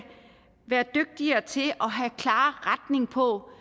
være dygtigere til at have klar retning på